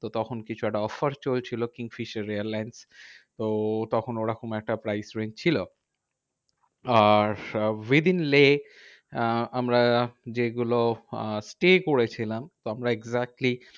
তো তখন কিছু একটা offer চলছিল কিংফিশার এয়ারলাইন্স। তো তখন ওরকম একটা price range ছিল। আর with in লেহ আহ আমরা যেগুলো আহ stay করেছিলাম তো আমরা exactly